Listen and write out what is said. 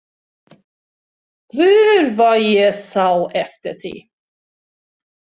Guð hvað ég sá eftir því!